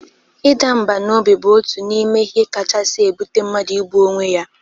Ịda mbà n'obi bụ otu n'ime ihe kachasi ebụte mmadu igbu onwe ya